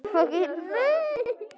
Það dugði í tíu slagi.